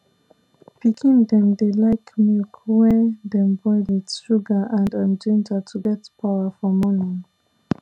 pikin dem dey like milk wey dem boil with sugar and um ginger to get power for morning